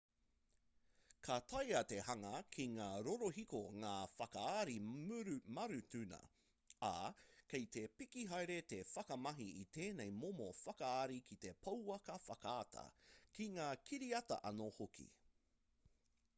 ka taea te hanga ki ngā rorohiko ngā whakaari marutuna ā kei te piki haere te whakamahi i tēnei momo whakaari ki te pouaka whakaata ki ngā kiriata anō hoki